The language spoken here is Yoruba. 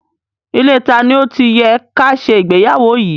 Ilée tani ó ti yẹ ká ṣe ìgbéyàwó yìí?